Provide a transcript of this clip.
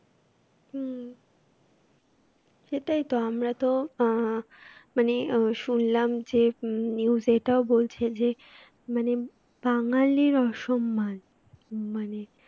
হম সেটাই তো আমরা তো আহ মানে আহ শুনলাম যে news এটাও বলছে যে মানে বাঙালির অসম্মান মানে